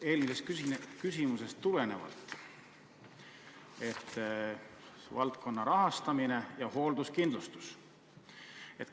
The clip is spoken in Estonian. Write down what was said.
Eelmisest küsimusest tulenevalt küsin ka valdkonna rahastamise ja hoolduskindlustuse kohta.